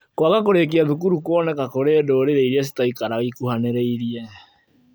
Kwaga kũrĩkia thukuru kuoneka kũrĩ ndũrĩrĩ iria citaikaraga ikuhanĩrĩirie